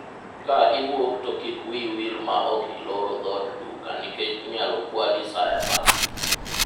ka iwuok to kik wiyi wil ma ok iloro dhod duka nikech inyalo kwali sa asaya